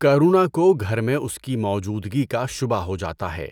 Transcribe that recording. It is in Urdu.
کرونا کو گھر میں اسکی موجودگی کا شبہ ہو جاتا ہے